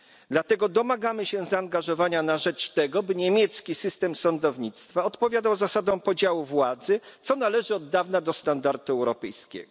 Dlatego domagamy się zaangażowania na rzecz tego, by niemiecki system sądownictwa odpowiadał zasadom podziału władzy, co należy od dawna do standardu europejskiego.